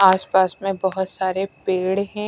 आस-पास में बहुत सारे पेड़ हैं।